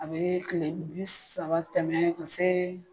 A bɛɛ tile bi saba tɛmɛ ka see